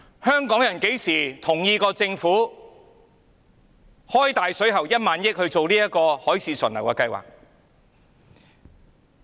香港人何時同意政府"開大水喉"花1萬億元做這項"海市蜃樓"的計劃？